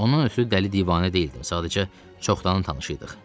Onun özü dəli divanə deyildi, sadəcə çoxdanın tanışı idik.